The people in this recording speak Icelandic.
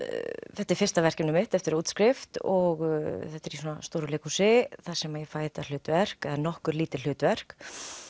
þetta er fyrsta verkefnið mitt eftir útskrift og þetta er í stóru leikhúsi þar sem ég fæ þetta hlutverk eða nokkur lítil hlutverk